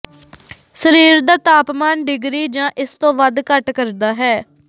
ਸਰੀਰ ਦਾ ਤਾਪਮਾਨ ਡਿਗਰੀ ਜਾਂ ਇਸ ਤੋਂ ਵੱਧ ਘੱਟ ਕਰਦਾ ਹੈ